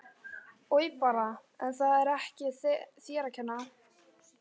Oj bara en það er ekki þér að kenna